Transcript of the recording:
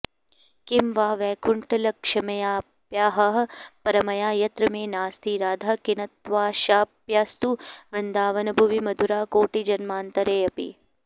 किं वा वैकुण्ठलक्ष्म्याप्यहह परमया यत्र मे नास्ति राधा किन्त्वाशाप्यस्तु वृन्दावनभुवि मधुरा कोटिजन्मान्तरेऽपि